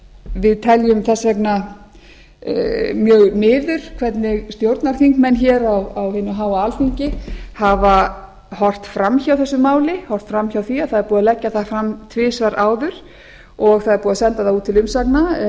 við teljum þess vegna mjög miður hvernig stjórnarþingmenn hér á hinu háa alþingi hafa horft fram hjá þessu máli horft fram hjá því að það er búið að leggja það fram tvisvar áður og það er búið að senda það út til umsagna